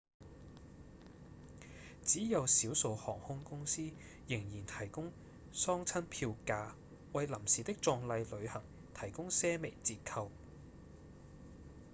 只有少數航空公司仍然提供喪親票價為臨時的葬禮旅行提供些微折扣